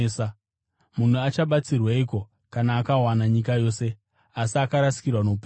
Munhu achabatsirweiko kana akawana nyika yose, asi akarasikirwa noupenyu hwake?